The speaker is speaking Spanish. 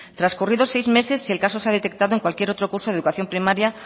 trascurridos seis meses si el caso se ha detectado en cualquier otro curso de educación primaria